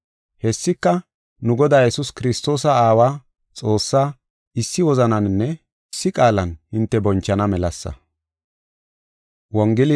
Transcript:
Hessika, nu Godaa Yesuus Kiristoosa Aawa, Xoossaa, issi wozananinne issi qaalan hinte bonchana melasa.